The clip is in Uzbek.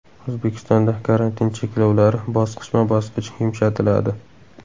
O‘zbekistonda karantin cheklovlari bosqichma-bosqich yumshatiladi.